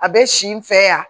A bɛ si n fɛ yan